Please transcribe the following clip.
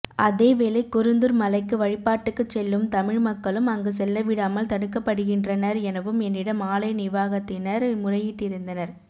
அதேவேளை குருந்தூர் மலைக்கு வழிபாட்டுக்குச்செல்லும் தமிழ் மக்களும் அங்கு செல்லவிடாமல் தடுக்கப்படுகின்றனர் எனவும் என்னிடம் ஆலய நிவாகத்தினர் முறையிட்டிருந்தனர்